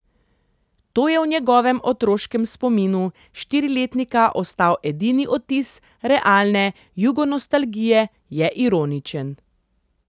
To je v njegovem otroškem spominu štiriletnika ostal edini odtis realne jugonostalgije, je ironičen.